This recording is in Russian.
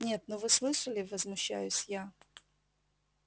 нет ну вы слышали возмущаюсь я